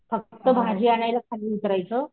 फक्त भाजी आणायला खाली उतरायच,